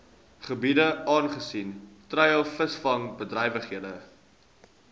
gebiede aangesien treilvisvangbedrywighede